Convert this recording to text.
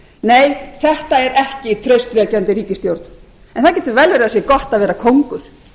nei þetta er ekki traustvekjandi ríkisstjórn en það getur vel verið að það sé gott að vera kóngur